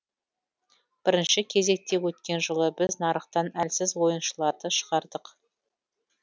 бірінші кезекте өткен жылы біз нарықтан әлсіз ойыншыларды шығардық